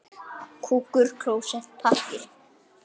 Strýkur hárinu bak við eyrað.